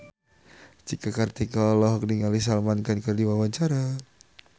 Cika Kartika olohok ningali Salman Khan keur diwawancara